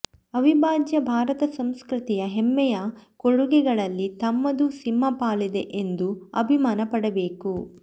ಅವಿಭಾಜ್ಯ ಭಾರತಸಂಸ್ಕೃತಿಯ ಹೆಮ್ಮೆಯ ಕೊಡುಗೆಗಳಲ್ಲಿ ತಮ್ಮದೂ ಸಿಂಹಪಾಲಿದೆ ಎಂದು ಅಭಿಮಾನ ಪಡಬೇಕು